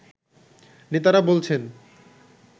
নেতারা বলছেন